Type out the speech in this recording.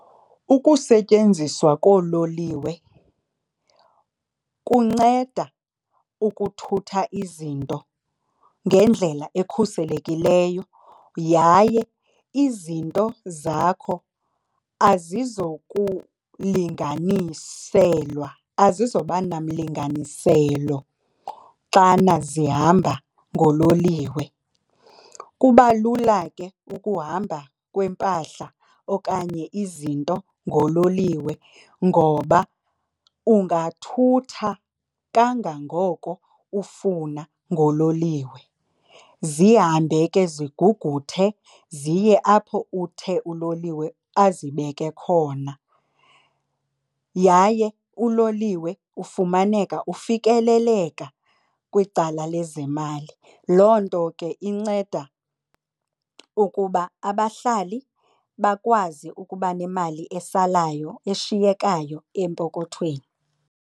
Ukusetyenziswa koololiwe kunceda ukuthutha izinto ngendlela ekhuselekileyo yaye izinto zakho azizokulinganiselwa, azizoba nomlinganiselo xana zihamba ngololiwe. Kuba lula ke ukuhamba kwempahla okanye izinto ngololiwe ngoba ungathutha kangangoko ufuna ngololiwe zihambe ke ziguguthee ziye apho uthe uloliwe azibeke khona. Yaye uloliwe ufumaneka ufikeleleka kwicala lezemali. Loo nto ke inceda ukuba abahlali bakwazi ukuba nemali esalayo eshiyekayo empokothweni.